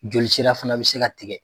Joli sera fana bɛ se ka tigɛ.